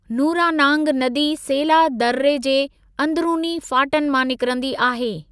नूरानांग नदी सेला दर्रे जे अंधरूनी फाटन मां निकरंदी आहे।